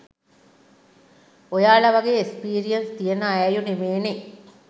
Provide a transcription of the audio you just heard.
ඔයාල වගේ එස්පීරියංස් තියෙන ඈයො නෙමේනෙ